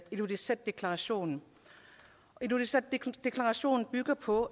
ilulissatdeklarationen ilulissatdeklarationen bygger på